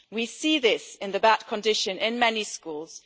We see this in the bad condition in many schools.